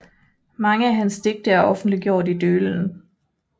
Mange af hans digte er offentliggjort i Dølen